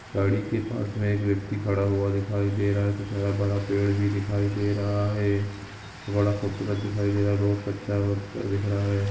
गाड़ी के पास मे एक व्यक्ति खड़ा हुआ दिखाई दे रहा है। कुछ हरा भरा पेड़ भी दिखाई दे रहा है। बड़ा खूबसूरत दिखाई दे रहा है रोड कच्चा और दिख रहा है।